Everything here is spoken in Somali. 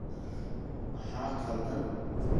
Maxaa qaldan